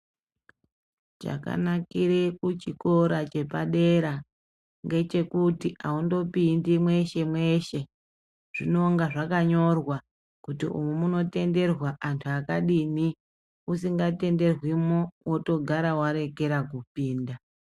Chakanakire kuchikora chepadera ngechekuti aundopindi mweshe mweshe zvinonga zvakanyorwa kuti umu muno tenderwa antu akadini usinga tenderwimwo wotogara warekera kupinda.